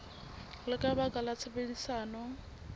le ka baka la tshebedisano